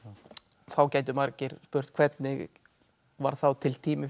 þá gætu margir spurt hvernig varð þá til tími fyrir